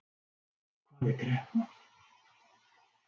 Hvað er kreppa?